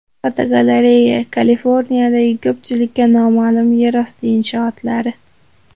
Fotogalereya: Kaliforniyadagi ko‘pchilikka noma’lum yerosti inshootlari.